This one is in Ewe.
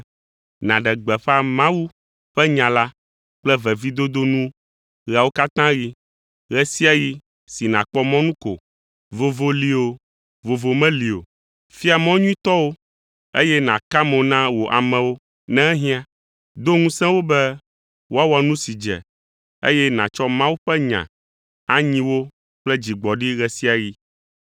nàɖe gbeƒã Mawu ƒe nya la kple vevidodo nu ɣeawo katã ɣi, ɣe sia ɣi si nàkpɔ mɔnu ko, vovo li o, vovo meli o. Fia mɔ nyuitɔwo, eye nàka mo na wò amewo ne ehiã. Do ŋusẽ wo be woawɔ nu si dze, eye nàtsɔ Mawu ƒe nya anyi wo kple dzigbɔɖi ɣe sia ɣi.